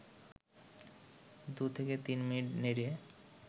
২-৩ minute নেড়ে